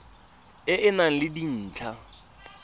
e e nang le dintlha